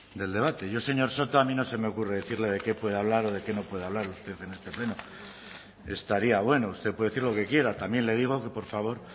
del debate yo señor soto a mí no se me ocurre decirle de qué puede hablar de qué no puede hablar usted en este pleno estaría bueno usted puede decir lo que quiera también le digo que por favor